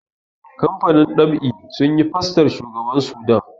kamfanin ɗab'i sun yi fostar shugaban Sudan